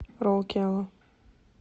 роукела